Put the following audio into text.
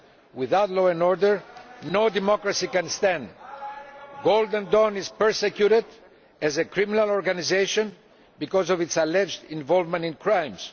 Without law and order, no democracy can stand. Golden Dawn is persecuted as a criminal organisation because of its alleged involvement in crimes.